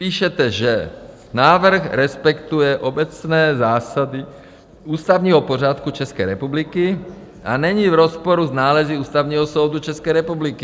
Píšete, že návrh respektuje obecné zásady ústavního pořádku České republiky a není v rozporu s nálezy Ústavního soudu České republiky.